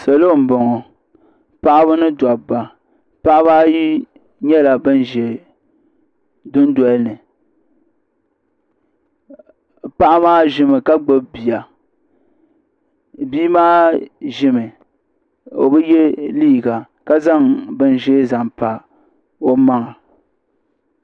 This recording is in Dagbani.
salo n bɔŋɔ paɣaba ni dabba paɣaba ayi nyɛla bin ʒɛ dundoli ni paɣa maa ʒimi ka gbubi bia bia maa ʒimi o bi yɛ liiga ka zaŋ bin ʒiɛ zaŋ pa o maŋa